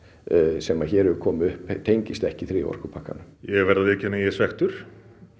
sem hér hefur komið upp tengist ekki þriðja orkupakkanum ég verð að viðurkenna að ég er svekktur